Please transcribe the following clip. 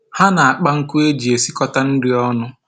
Ha na-akpa nkụ e ji esikọta nri ọnụ